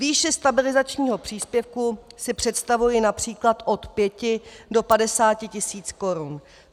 Výši stabilizačního příspěvku si představuji například od 5 do 50 tisíc korun.